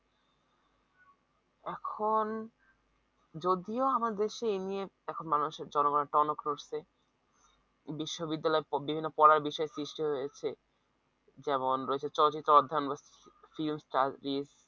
এখন যদিও আমার দেশে এইনিয়ে এখন মানুষের জনগণের টনক নড়ছে বিশ্ববিদ্যালয়ের বিভিন্ন পড়ার বিষয় সৃষ্টি হয়েছে যেমন রয়েছে চলচ্চিত্রে অধ্যায়ন